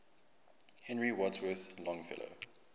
henry wadsworth longfellow